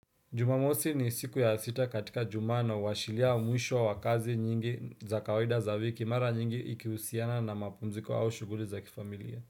Jumamosi ni siku ya sita katika juma, na uwashiria mwisho wa kazi nyingi za kawaida za wiki, mara nyingi ikihusiana na mapumziko au shughuli za kifamilia.